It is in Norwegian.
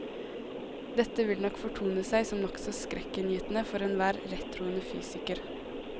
Dette vil nok fortone seg som nokså skrekkinngytende for enhver rettroende fysiker.